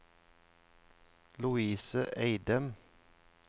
Lovise Eidem